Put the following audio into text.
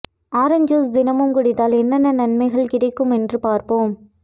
orange ஜூஸ் தினமும் குடித்தால் என்னென்ன நன்மைகள் கிடைக்கும் என்று பார்ப்போம்